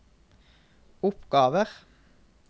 oppgaver